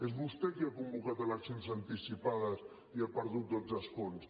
és vostè qui ha convocat eleccions anticipades i ha perdut dotze escons